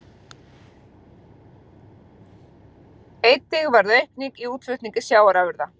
Einnig varð aukning í útflutningi sjávarafurða